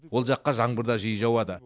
ол жаққа жаңбыр да жиі жауады